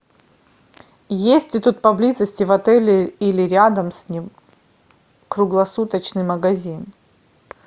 есть ли тут поблизости в отеле или рядом с ним круглосуточный магазин